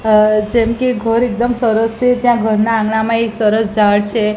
અ જેમકે ઘર એકદમ સરસ છે ત્યાં ઘરના આંગણામાં એક સરસ ઝાડ છે.